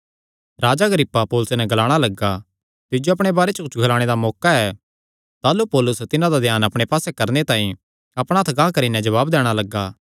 राजा Agrippa पौलुसे नैं ग्लाणा लग्गा तिज्जो अपणे बारे च कुच्छ ग्लाणे दा मौका ऐ ताह़लू पौलुस तिन्हां दा ध्यान अपणे पास्से करणे तांई अपणा हत्थ गांह करी नैं जवाब दैणा लग्गा